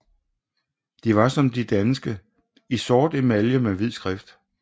De var som de danske i sort emalje med hvid skrift